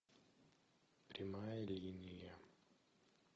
прямая линия